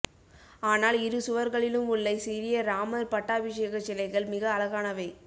ஆனால் இரு சுவர்களிலும் உள்ள சிறிய ராமர் பட்டாபிஷேகச்சிலைகள் மிக அழகானவை